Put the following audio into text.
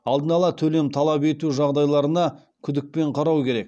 алдын ала төлем талап ету жағдайларына күдікпен қарау керек